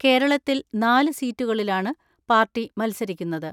കേരളത്തിൽ നാല് സീറ്റുകളിലാണ് പാർട്ടി മത്സരിക്കുന്നത്.